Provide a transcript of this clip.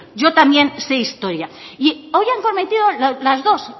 yo también sé historia y hoy han cometido las dos